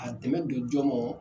A dɛmɛ don jɔ mɔn